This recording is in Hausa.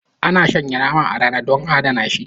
Ana shanya nama a rana dan a adana shi